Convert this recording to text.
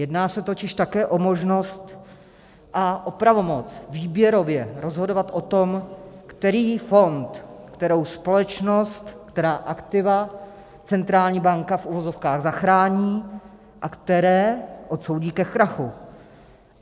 Jedná se totiž také o možnost a o pravomoc výběrově rozhodovat o tom, který fond, kterou společnost, která aktiva centrální banka v uvozovkách zachrání a které odsoudí ke krachu.